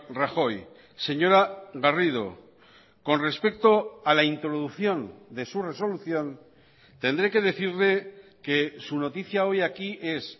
rajoy señora garrido con respecto a la introducción de su resolución tendré que decirle que su noticia hoy aquí es